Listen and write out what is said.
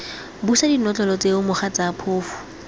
busa dinotlolo tseo mogatsa phofu